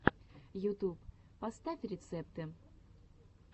ютуб поставь рецепты